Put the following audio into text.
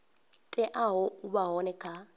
teaho u vha hone kha